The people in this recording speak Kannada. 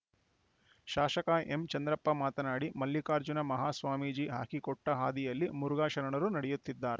ಶಾಸಕ ಎಂಚಂದ್ರಪ್ಪ ಮಾತನಾಡಿ ಮಲ್ಲಿಕಾರ್ಜುನ ಮಹಾಸ್ವಾಮೀಜಿ ಹಾಕಿ ಕೊಟ್ಟಹಾದಿಯಲ್ಲಿ ಮುರುಘಾ ಶರಣರು ನಡೆಯುತ್ತಿದ್ದಾರೆ